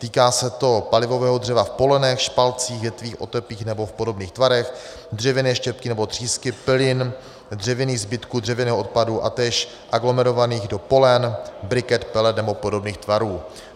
Týká se to palivového dřeva v polenech, špalcích, větvích, otepích nebo v podobných tvarech, dřevěné štěpky nebo třísky, pilin, dřevěných zbytků dřevěného odpadu a též aglomerovaných do polen, briket, pelet nebo podobných tvarů.